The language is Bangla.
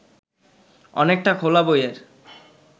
অনেকটা খোলা বইয়ের